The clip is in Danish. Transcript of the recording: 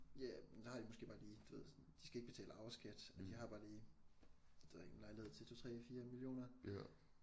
Ja men der har de måske bare lige sådan du ved de skal ikke betale arveskat og de har bare lige det ved jeg ikke en lejlighed til 2 3 4 millioner